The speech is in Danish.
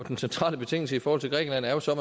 den centrale betingelse i forhold til grækenland er jo så at